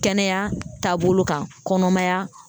Kɛnɛya taabolo kan kɔnɔmaya